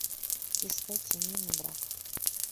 искать семейный брак